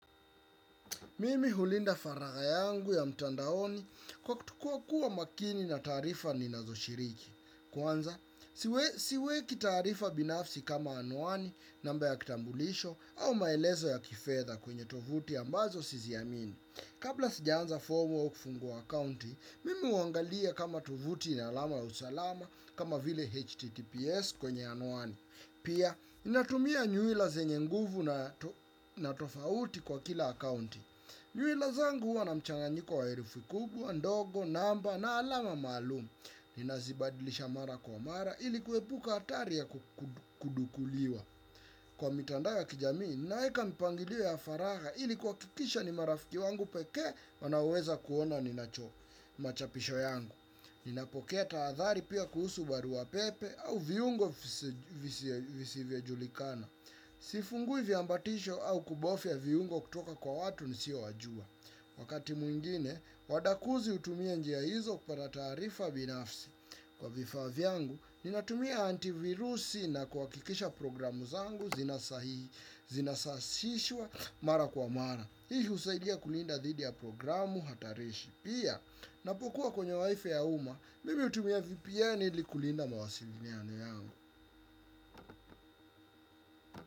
Mimi hulinda faragha yangu ya mtandaoni kwa kuwa makini na taarifa ninazoshiriki. Kwanza, siweki taarifa binafsi kama anwani, namba ya kitambulisho au maelezo ya kifedha kwenye tovuti ambazo siziamini. Kabla sijajaza fomu ya kufungua akaunti, mimi huangalia kama tovuti ina alama za usalama kama vile HTTPS kwenye anwani. Pia, ninatumia nywila zenye nguvu, na totauti kwa kila akaunti. Nywila zangu huwa na mchanganyiko wa herufi kubwa, ndogo, namba na alama maalumu. Ninazibadilisha mara kwa mara ili kuepuka hatari ya kudukuliwa. Kwa mitandao ya kijamii, naweka mipangilio ya faragha ili kuhakikisha ni marafiki zangu pekee wanaoweza kuona machapisho yangu. Ninapokea tahathari pia kuhusu barua pepe au viungo visivyojulikana. Sifungui viambatisho au kubofya viungo kutoka kwa watu nisiowajua. Wakati mwingine, wadukuzi hutumia njia hizo kupata taarifa binafsi. Kwa vifaa vyangu, ninatumia antivirusi na kuhakikisha programu zangu zinasasishwa mara kwa mara. Hii husaidia kulinda dhidi ya programu hatarishi. Pia, ninapokuwa kwenye WiFi ya umma, mimi hutumia VPN ili kulinda mawasiliano yangu.